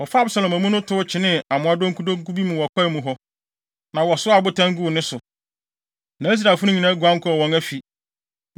Wɔfaa Absalom amu no tow kyenee amoa donkudonku bi mu wɔ kwae mu hɔ, na wɔsoaa abotan guu ne so. Na Israelfo no nyinaa guan kɔɔ wɔn afi.